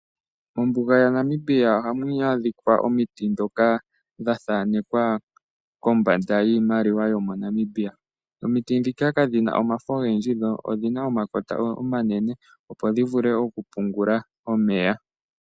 Mombuga yaNamibia ohamu adhika omiti dhoka dha thaanekwa kombanda yiimaliwa yomo Namibia. Omiti dhika kadhina omafo ogendji dho odhina omakota omanene opo dhi vule okupungula omeya.